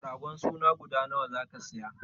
Ragon suna guda nawa zaka siya?